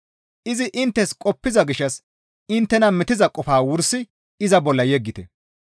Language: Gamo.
Izi inttes qoppiza gishshas inttena metiza qofaa wursi iza bolla yeggite.